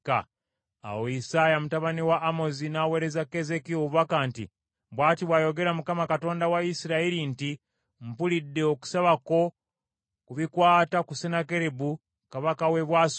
Awo Isaaya mutabani wa Amozi n’aweereza Keezeekiya obubaka nti: “Bw’ati bw’ayogera Mukama , Katonda wa Isirayiri nti, Mpulidde okusaba kwo ku bikwata ku Sennakeribu kabaka w’e Bwasuli.